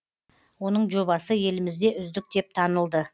оның жобасы елімізде үздік деп танылды